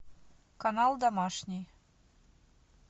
канал домашний